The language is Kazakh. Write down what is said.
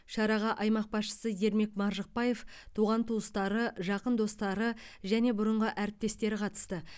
шараға аймақ басшысы ермек маржықпаев туған туыстары жақын достары және бұрынғы әріптестері қатысты